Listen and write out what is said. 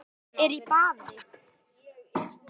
Arnór er í baði